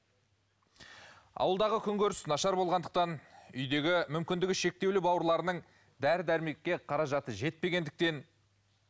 ауылдағы күн көріс нашар болғандықтан үйдегі мүмкіндігі шектеулі бауырларының дәрі дәрмекке қаражаты жетпегендіктен